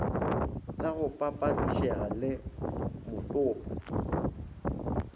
sa go papetlišega le motopo